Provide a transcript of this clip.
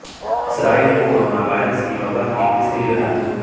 اسرائیل میں corona virus کی وبا کی تیسری لہر